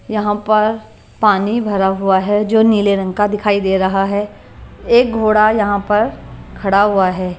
यहां पर पानी भरा हुआ है जो नीले रंग का दिखाई दे रहा है एक घोड़ा यहां पर खड़ा हुआ है।